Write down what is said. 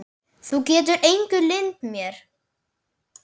Þú getur engu leynt mig.